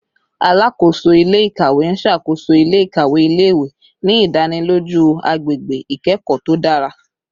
Alakoso ile-ikawe n ṣakoso ile-ikawe ile-iwe, ni idaniloju agbegbe ikẹkọ to dara